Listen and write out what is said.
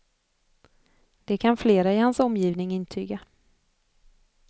Det kan flera i hans omgivning intyga.